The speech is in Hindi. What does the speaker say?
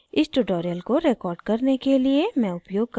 इस tutorial को record करने के लिए मैं उपयोग कर रही हूँ